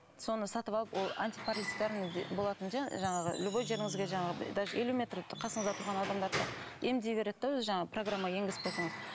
сондай сатып алып ол болатын жаңағы любой жеріңізге жаңағы даже елу метр қасыңызда тұрған адамдарды да емдей береді де өзі жаңағы программа енгізіп қойсаңыз